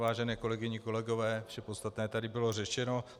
Vážené kolegyně, kolegové, vše podstatné tady bylo řečeno.